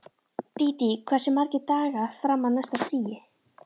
Dídí, hversu margir dagar fram að næsta fríi?